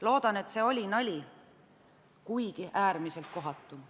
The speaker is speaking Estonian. Loodan, et see oli nali, kuigi äärmiselt kohatu.